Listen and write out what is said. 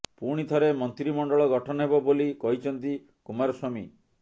ପୁଣି ଥରେ ମନ୍ତ୍ରିମଣ୍ଡଳ ଗଠନ ହେବ ବୋଲି କହିଛନ୍ତି କୁମାରସ୍ୱାମୀ